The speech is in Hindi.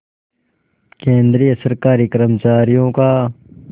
केंद्रीय सरकारी कर्मचारियों का